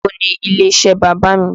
Báwo ni ilé iṣẹ́ bàbá mi?